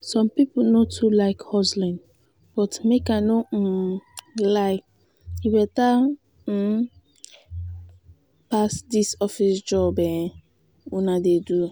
some people no too like hustling but make i no um lie e better um pass dis office job um una dey do